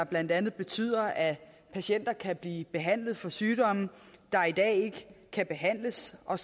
blandt andet betyder at patienter kan blive behandlet for sygdomme der i dag ikke kan behandles og